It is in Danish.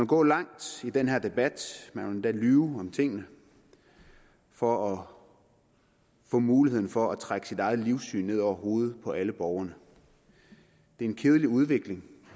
gå langt i den her debat man vil endda lyve om tingene for at få muligheden for at trække sit eget livssyn ned over hovedet på alle borgerne det er en kedelig udvikling